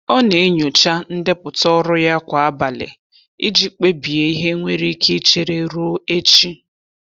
Ọ na-enyocha ndepụta ọrụ ya kwa abalị iji kpebie ihe nwere ike ichere ruo echi.